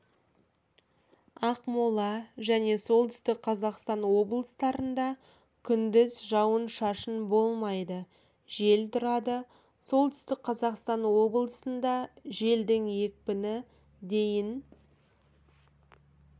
ақмола және солтүстік қазақстан облыстарында күндіз жауын-шашын болмайды жел тұрады солтүстік қазақстан облысында желдің екпіні дейін